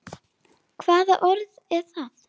Hvaða orð er það?